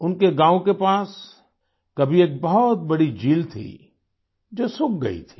उनके गाँव के पास कभी एक बहुत बड़ी झील थी जो सूख गई थी